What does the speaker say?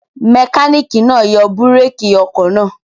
Mẹkáníkì náà yọ búrékì ọkọ̀ náà?